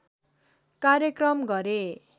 कार्यक्रम गरे